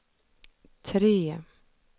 tre